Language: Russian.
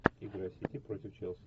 игра сити против челси